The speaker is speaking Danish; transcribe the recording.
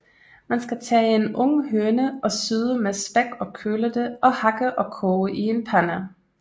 Man skal tage en ung høne og syde med spæk og køle det og hakke og koge i en pande